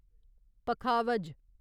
पखावज